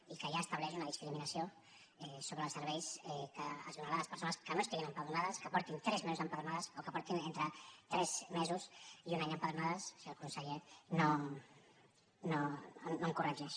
i que ja estableix una discriminació sobre els serveis que es donarà a les persones que no estiguin empadronades que faci tres mesos que estiguin empadronades o que faci entre tres mesos i un any que estiguin empadronades si el conseller no em corregeix